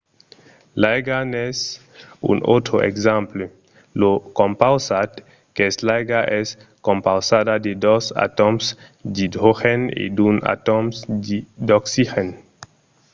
l’aiga n’es un autre exemple. lo compausat qu'es l'aiga es compausada de dos atòms d’idrogèn e d’un atòm d’oxigèn